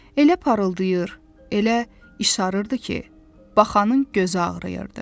Elə parıldayır, elə işarırdı ki, baxanın gözü ağrıyırdı.